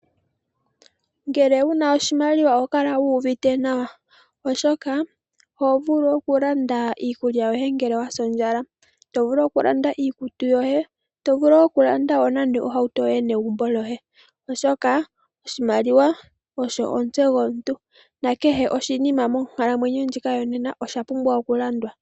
Ngele una oshimaliwa ohoka uuvite nawa , oshoka oho vulu okulanda iikulya yoye ngele wasondjala to vulu okulanda iikutu yoye, to vulu okulanda nenge ohauto yoye negumbo lyoye oshoka oshimaliwa osho omutse gomuntu nakehe oshinima monkalamwenyo ndjika yonena oshapumbwa okulanda.